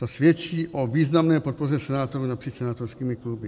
To svědčí o významné podpoře senátorů napříč senátorskými kluby.